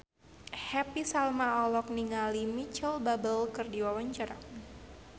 Happy Salma olohok ningali Micheal Bubble keur diwawancara